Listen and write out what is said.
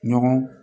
Ɲɔgɔn